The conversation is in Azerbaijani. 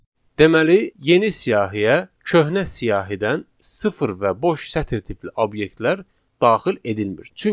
Deməli yeni siyahıya köhnə siyahıdan sıfır və boş sətir tipli obyektlər daxil edilmir.